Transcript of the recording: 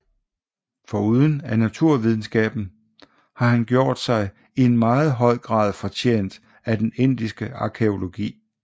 Foruden af naturvidenskaben har han gjort sig i en meget høj grad fortjent af den indiske arkæologi